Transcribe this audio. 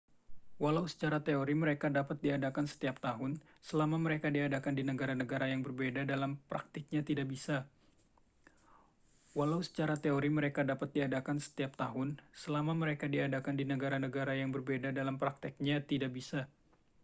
walau secara teori mereka dapat diadakan setiap tahun selama mereka diadakan di negara-negara yang berbeda dalam praktiknya tidak bisa